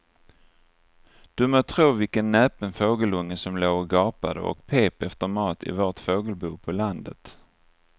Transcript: Du må tro vilken näpen fågelunge som låg och gapade och pep efter mat i vårt fågelbo på landet.